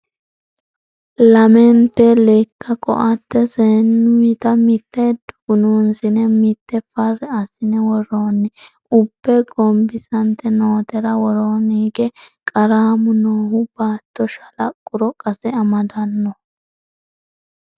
Lamente lekka koatte seenutta mite dugununsine mite fari assine worooni ,ubbe gombisate nootera worooni hige qaramu noohu baatto shalaquro qase amadanoho.